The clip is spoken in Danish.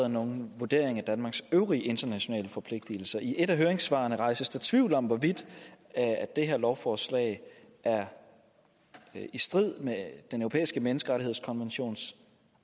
nogen vurdering af danmarks øvrige internationale forpligtelser i et af høringssvarene rejses der tvivl om hvorvidt det her lovforslag er i strid med den europæiske menneskerettighedskonventions